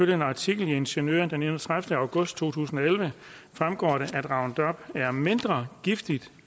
en artikel i ingeniøren den enogtredivete august to tusind og elleve fremgår det at roundup er mindre giftigt